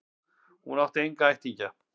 Hún átti enga ættingja.